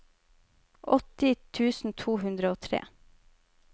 åtti tusen to hundre og tre